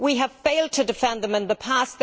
We have failed to defend them in the past.